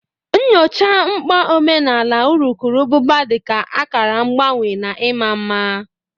Nyochaa mkpa omenala urukurubụba dị ka akara mgbanwe na ịma mma.